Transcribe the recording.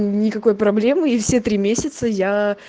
никакой проблемы и все три месяца я